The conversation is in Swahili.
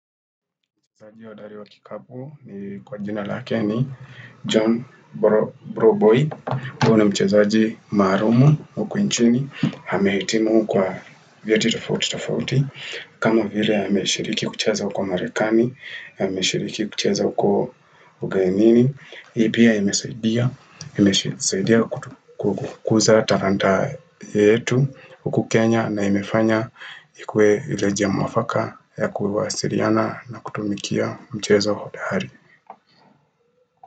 Mchezaji hodhari wa kikabu ni kwa jina lake ni John Broboy. Huyo ni mchezaji malumu, huku nchini. Amehitimu kwa vieti tofouti tofouti. Kama vile ameshiriki kucheza huko Amerikani. Ameshiriki kucheza huko ugenini. Hii pia imesaidia kukuza talanta yetu huku Kenya. Na imefanya ikue ile njia mwafaka ya kuwasiliana na kutumikia mchezo hodari.